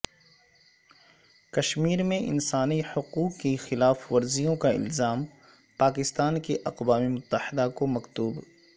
کشمیر میں انسانی حقوق کی خلاف ورزیوں کا الزام پاکستان کا اقوام متحدہ کو مکتوب